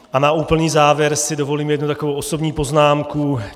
A na úplný závěr si dovolím jednu takovou osobní poznámku.